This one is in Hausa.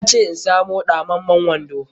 Ya ce in samu ɗamammun wando.